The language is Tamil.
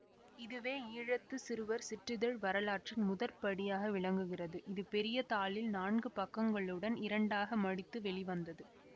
இதுவே ஈழத்து சிறுவர் சிற்றிதழ் வரலாற்றில் முதற்படியாக விளங்குகிறது இது பெரிய தாளில் நான்கு பக்கங்களுடன் இரண்டாக மடித்து வெளிவந்தது